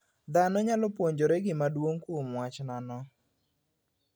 Dhano nyalo puonjore gima duong' kuom wach nano.